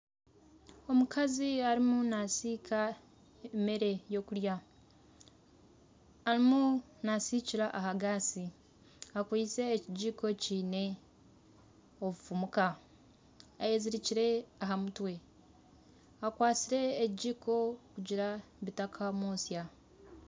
Omukazi arimu nasiika emere yokurya. Arimu nasiikira aha gaasi akwitse ekigiko kiine obufumuka. Ayezirikire aha mutwe akwatsire ekigiko kugira ngu bitakamwosya.